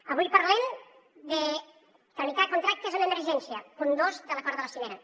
avui parlem de tramitar contractes amb emergència punt dos de l’acord de la cimera